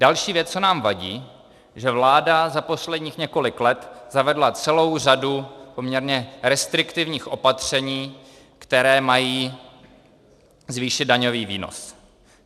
Další věc, co nám vadí, že vláda za posledních několik let zavedla celou řadu poměrně restriktivních opatření, která mají zvýšit daňový výnos.